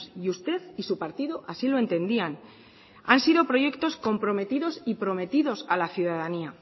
y usted y su partido así lo entendían han sido proyectos comprometidos y prometidos a la ciudadanía